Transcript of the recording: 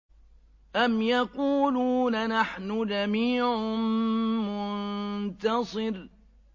أَمْ يَقُولُونَ نَحْنُ جَمِيعٌ مُّنتَصِرٌ